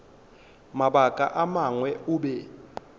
mabaka a mangwe o be